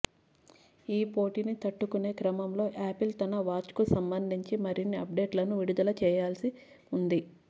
ఈ పోటీని తట్టుకునే క్రమంలో యాపిల్ తన వాచ్కు సంబంధించి మరిన్ని అప్డేట్లను విడుదల చేయవల్సి ఉంది